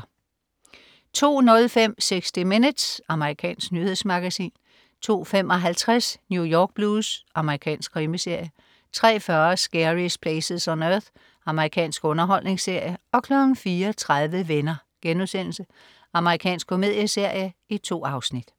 02.05 60 Minutes. Amerikansk nyhedsmagasin 02.55 New York Blues. Amerikansk krimiserie 03.40 Scariest Places on Earth. Amerikansk underholdningsserie 04.30 Venner.* Amerikansk komedieserie. 2 afsnit